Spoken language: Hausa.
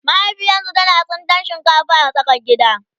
mahaifiyarsu tana tsintan shinkafa a tsakar gida